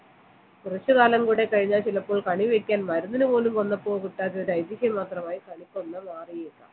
കുറച്ചുകാലം കൂടി കഴിഞ്ഞാൽ ചിലപ്പോൾ കണി വയ്ക്കാൻ മരുന്നിന് പോലും വന്നപ്പോൾ കിട്ടാത്ത ഒരു ഐതിഹ്യം മാത്രമായി കണിക്കൊന്ന മാറിയേക്കാം